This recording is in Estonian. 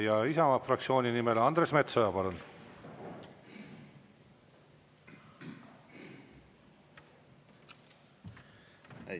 Ja Isamaa fraktsiooni nimel Andres Metsoja, palun!